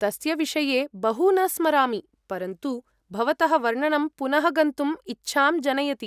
तस्य विषये बहु न स्मरामि, परन्तु भवतः वर्णनं पुनः गन्तुम् इच्छां जनयति।